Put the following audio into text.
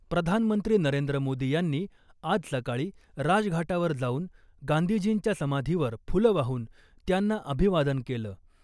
प्रधानमंत्री नरेंद्र मोदी यांनी आज सकाळी राजघाटावर जाऊन गांधीजींच्या समाधीवर फुलं वाहून त्यांना अभिवादन केलं .